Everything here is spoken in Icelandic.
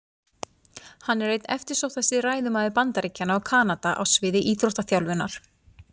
Hann er einn eftirsóttasti ræðumaður Bandaríkjanna og Kanada á sviði íþróttaþjálfunar.